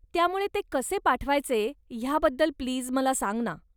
त्यामुळे ते कसे पाठवायचे ह्याबद्दल प्लीज मला सांग ना.